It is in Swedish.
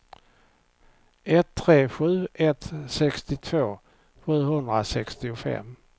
ett tre sju ett sextiotvå sjuhundrasextiofem